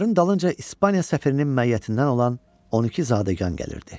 Onların dalınca İspaniya səfirinin məiyyətindən olan 12 zadəgan gəlirdi.